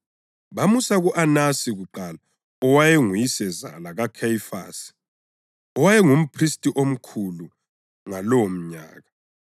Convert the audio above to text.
bamusa ku-Anasi kuqala owayenguyisezala kaKhayifasi owayengumphristi omkhulu ngalowomnyaka.